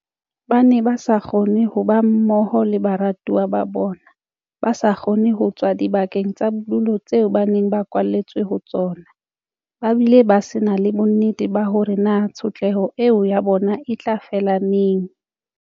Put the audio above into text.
Ba ne ba sa kgone ho ba mmoho le baratuwa ba bona, ba sa kgone ho tswa dibakeng tsa bodulo tseo ba neng ba kwaletswe ho tsona, ba bile ba se na le bonnete ba hore na tshotleho eo ya bona e tla fela neng.